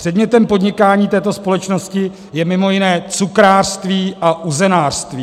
Předmětem podnikání této společnosti je mimo jiné cukrářství a uzenářství.